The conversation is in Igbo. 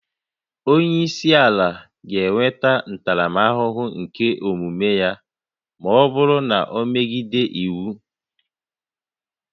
Onye isi ala ga-enweta ntaramahụhụ nke omume ya ma ọ bụrụ na o megidere iwu